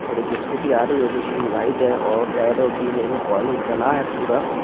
और एक स्कूटी आ रही है जो की वाइट हैं और रेड और पीले में कॉलेज बना है पूरा।